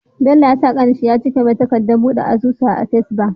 Bello ya sa kanin shi yacike mai takadat buɗe asusu a access bank